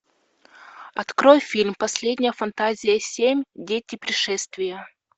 открой фильм последняя фантазия семь дети пришествия